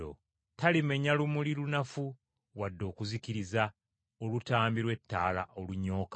Talimenya lumuli lunafu, wadde okuzikiriza olutambi lw’ettaala olunyooka.